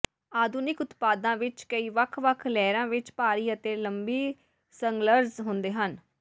ਆਧੁਨਿਕ ਉਤਪਾਦਾਂ ਵਿੱਚ ਕਈ ਵੱਖ ਵੱਖ ਲੇਅਰਾਂ ਵਿੱਚ ਭਾਰੀ ਅਤੇ ਲੰਬੀ ਸੰਗਲਜ਼ ਹੁੰਦੇ ਹਨ